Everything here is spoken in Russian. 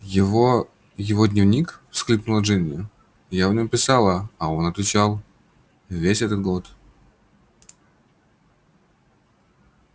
его его дневник всхлипнула джинни я в нем писала а он отвечал весь этот год